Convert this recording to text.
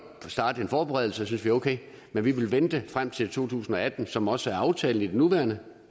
starte en forberedelse det synes vi er okay men vi vil vente frem til to tusind og atten som det også er aftalt i det nuværende